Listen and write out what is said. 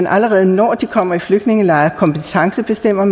allerede når de kommer i flygtningelejr kompetencebestemme